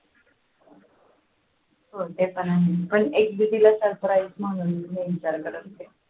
हो ते पण आहे पण